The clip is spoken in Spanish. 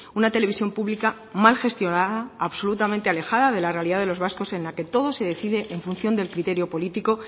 una televisión pública mal gestionada absolutamente alejada de la realidad de los vascos en la que todo se decide en función del criterio político